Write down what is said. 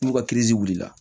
N'u ka wulila